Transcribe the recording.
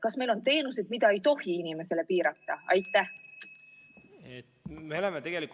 Kas meil on teenuseid, mille saamist ei tohi inimestele piirata?